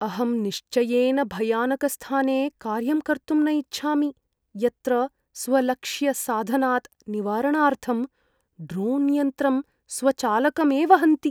अहं निश्चयेन भयानकस्थाने कार्यं कर्तुं न इच्छामि, यत्र स्वलक्ष्यसाधनात् निवारणार्थं ड्रोण्यन्त्रं स्वचालकमेव हन्ति।